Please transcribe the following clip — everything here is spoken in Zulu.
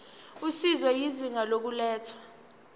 usizo izinga lokulethwa